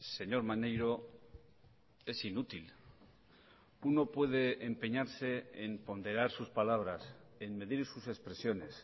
señor maneiro es inútil uno puede empeñarse en ponderar sus palabras en medir sus expresiones